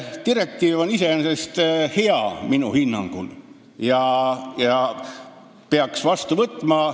Direktiiv on minu hinnangul iseenesest hea ja selle peaks vastu võtma.